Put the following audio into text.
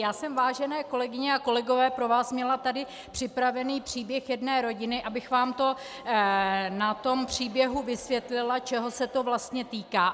Já jsem, vážené kolegyně a kolegové, pro vás měla tady připraven příběh jedné rodiny, abych vám to na tom příběhu vysvětlila, čeho se to vlastně týká.